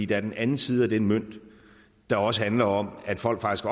den anden side af den mønt der også handler om at folk faktisk